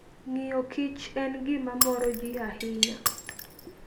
Ng'iyo kich en gima moro ji ahinya.